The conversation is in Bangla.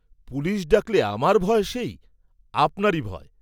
পুলিষ ডাকলে আমার ভয় সেই, আপনারি ভয়।